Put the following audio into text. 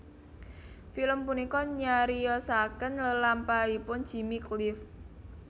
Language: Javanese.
Film punika nyariyosaken lelampahanipun Jimmy Cliff